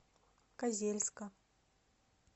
козельска